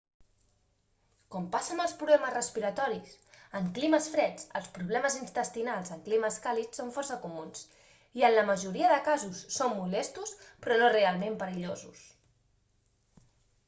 com passa amb els problemes respiratoris en climes freds els problemes intestinals en climes càlids són força comuns i en la majoria de casos són molestos però no realment perillosos